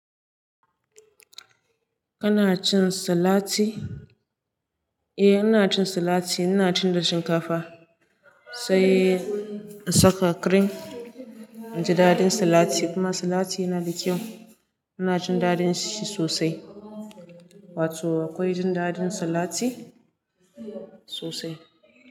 Kana cin salati? Eh, ina cin salati. Ina cin da shinkafa sai in saka cream inji daɗin salati. Kuma salati yana da kyau. Ina jin daɗin shi sosai. Wato akwai jin daɗin salati sosai.